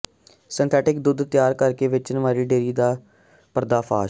synthetic ਦੁੱੱਧ ਤਿਆਰ ਕਰਕੇ ਵੇਚਣ ਵਾਲੀ ਡੇਅਰੀ ਦਾ ਪਰਦਾਫਾਸ਼